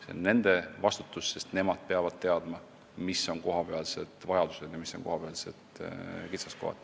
See on nende vastutada, sest nemad peavad teadma, mis on kohapealsed vajadused ja mis on kohapealsed kitsaskohad.